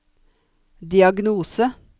diagnose